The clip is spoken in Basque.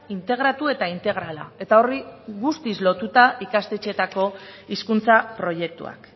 integratu eta integrala eta horri guztiz lotuta ikastetxeetako hizkuntza proiektuak